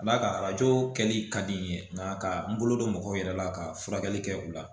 Ka d'a kan arajo kɛli ka di n ye nka ka n bolo don mɔgɔw yɛrɛ la ka furakɛli kɛ u la